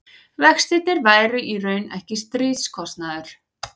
vextirnir væru í raun ekki stríðskostnaður